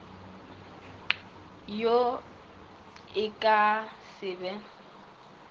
wo e ka se be